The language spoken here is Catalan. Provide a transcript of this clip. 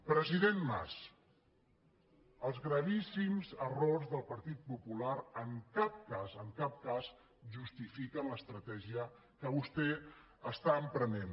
president mas els gravíssims errors del partit popular en cap cas en cap cas justifiquen l’estratègia que vostè emprèn